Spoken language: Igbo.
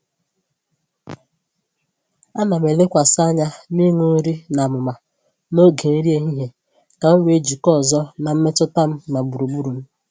Ana m elekwasị anya n’iṅụ nri n’amụma n’oge nri ehihie ka m wee jikọọ ọzọ na mmetụta m na gburugburu m.